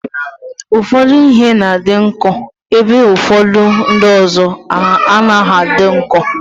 Ụfọdụ ihe na-adị nkọ ebe ụfọdụ ndị ọzọ anaghị adị nkọ.